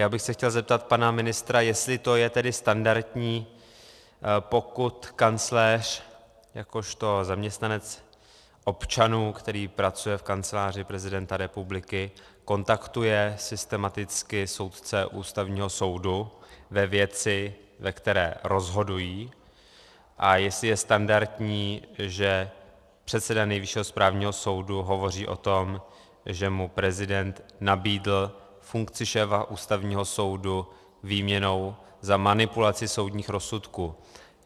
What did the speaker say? Já bych se chtěl zeptat pana ministra, jestli to je tedy standardní, pokud kancléř jakožto zaměstnanec občanů, který pracuje v Kanceláři prezidenta republiky, kontaktuje systematicky soudce Ústavního soudu ve věci, ve které rozhodují, a jestli je standardní, že předseda Nejvyššího správního soudu hovoří o tom, že mu prezident nabídl funkci šéfa Ústavního soudu výměnou za manipulaci soudních rozsudků.